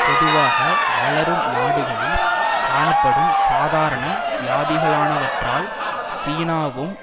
பொதுவாக வளரும் நாடுகளில் காணப்படும் சாதாரண வியாதிகளானவற்றால் சீனாவும்